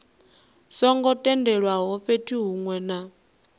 songo tendelwaho fhethu hunwe na